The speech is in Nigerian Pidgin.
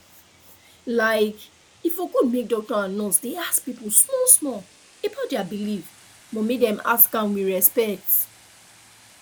like e for good make doctor and nurse dey ask people smallsmall about their belief but make dem ask am with respect